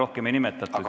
Härra esimees!